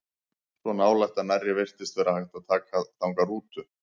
Svo nálægt að nærri virtist vera hægt að taka þangað rútu.